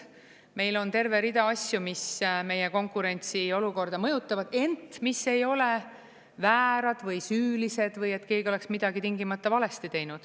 Meil on terve rida asju, mis meie konkurentsiolukorda mõjutavad, ent mis ei ole väärad või süülised või et keegi oleks midagi tingimata valesti teinud.